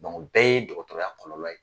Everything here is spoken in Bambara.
o bɛɛ ye dɔgɔtɔrɔya kɔlɔlɔ ye.